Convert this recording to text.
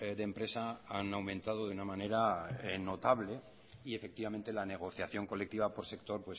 de empresa han aumentado de una manera notable y efectivamente la negociación colectiva por sector